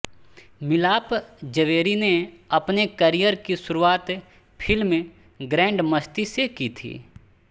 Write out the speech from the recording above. मिलाप जवेरी ने अपने करियर की शुरुआत फिल्म ग्रैंडमस्ती से की थी